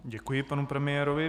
Děkuji panu premiérovi.